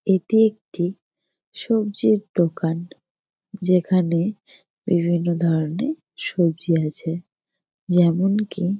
এটি একটি সবজির দোকান যেখানে বিভিন্ন ধরণের সবজি আছে। যেমন কি--